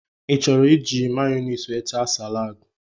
I chọrọ iji Mayonaise wee taa salaadi?